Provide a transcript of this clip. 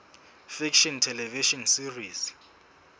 fiction television series